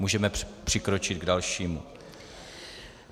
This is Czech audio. Můžeme přikročit k dalšímu.